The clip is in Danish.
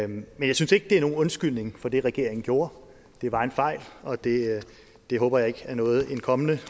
men jeg synes ikke det er nogen undskyldning for det regeringen gjorde det var en fejl og det det håber jeg ikke er noget en kommende